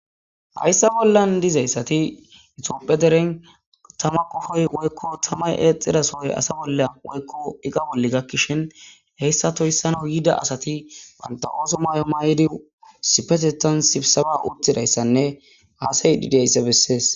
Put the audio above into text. hayssa bollan dizayssati itopphe deren tama kofoy woykko tamay eexxidasohoy asa bolla woykko iqa bolli gakkishin heyssa toyssan hoyida asati wanta ooso may7o maay7di sipesetan sipsaba uttidayssanne aasay dideysse bessees